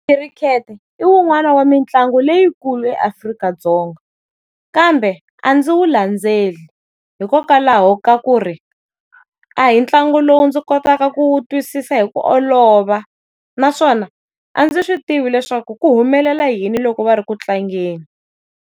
Khirikhete i wun'wani wa mitlangu leyikulu eAfrika-Dzonga kambe a ndzi wu landzeli hikokwalaho ka ku ri, a hi ntlangu lowu ndzi kotaka ku wu twisisa hi ku olova, naswona a ndzi swi tivi leswaku ku humelela yini loko va ri ku tlangeni.